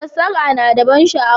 Sassake na da ban sha'awa